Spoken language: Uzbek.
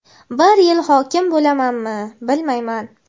bir yil hokim bo‘lamanmi, bilmayman.